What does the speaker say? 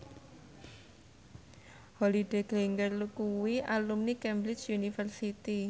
Holliday Grainger kuwi alumni Cambridge University